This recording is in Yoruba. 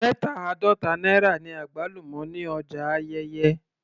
Mẹta àádọta náírà ni àgbálùmọ́ ní ọjà Ayẹ́yẹ́